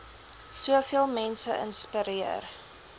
soveel mense inspireer